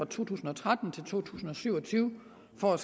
to tusind og tretten til syv og tyve for at